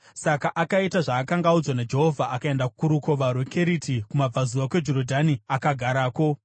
Saka akaita zvaakanga audzwa naJehovha. Akaenda kuRukova rweKeriti, kumabvazuva kweJorodhani, akagarako.